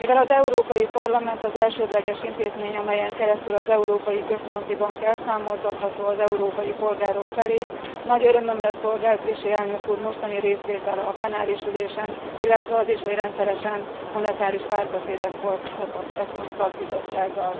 Mivel az Európai Parlament az elsődleges intézmény, amelyen keresztül az Európai Központi Bank elszámoltatható az európai polgárok felé, nagy örömömre szolgál Trichet elnök úr mostani részvétele a plenáris ülésen, illetve az is, hogy rendszeresen monetáris párbeszédet folytat az ECON szakbizottsággal.